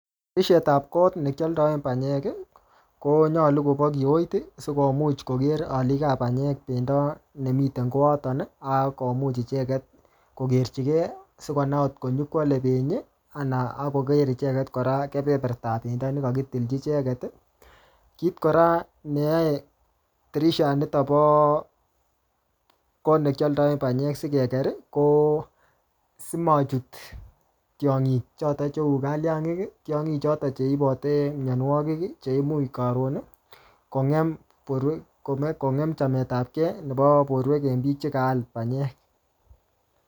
Tirishet ap kot ne kialdae panyek, konyolu kobo kiot, sikomuch koker alik ap panyek pendo nemiten koaton, akomuch icheket kokerchikei, sikonai ngotko nyikwale penyi, anan akoker icheket kora keperpertap pendo ne kakkitilchi icheket. Kit kora neyae tirishat nitok bo kot ne kialdae panyek sikeker, ko simachut tiong'ik chotok cheu kaliangik. Tiongik chotok che ibote mianwogik, che imuch karon kongem borwek, um kongem chametapkey nebo borwek eng biik che kaal panyek